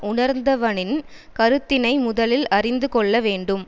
உணர்ந்தவனின் கருத்தினை முதலில் அறிந்து கொள்ள வேண்டும்